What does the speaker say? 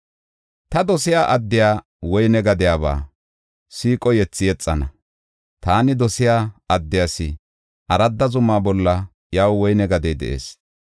Ta dosiya addiya woyne gadiyaba, siiqo yethi yexana. Taani dosiya addiyas, aradda zuma bolla iyaw woyne gadey de7ees.